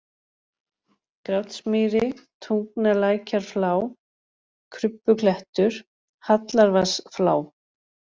Grátsmýri, Tungnalækjarflá, Krubbuklettur, Hallarvatnsflá